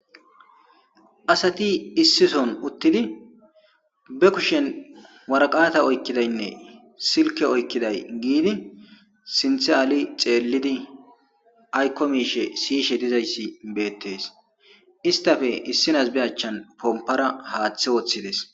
asati issison uttidi be kushen waraqata oykkidaynne silke oykkiday giidi sinthe aali xeellidi aykko miishe siyishe dizayssi beettes istafe issinas be achchan pompara haaththe woththides